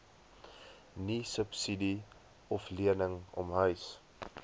niesubsidie oflening omhuis